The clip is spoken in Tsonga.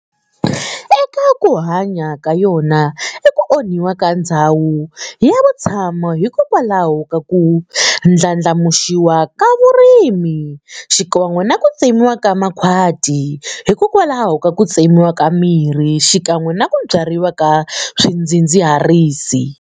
Eka ku hanya ka yona i ku onhiwa ka ndzhawu ya vutshamo hikokwalaho ka ku ndlandlamuxiwa ka vurimi xikan'we naku tsemiwa ka makhwati hikokwalaho ka ku tsemiwa ka mirhi xikan'we naku byariwa ka swidzidziharisi.